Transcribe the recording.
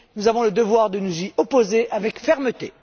Nous avons le devoir de nous y opposer avec fermeté.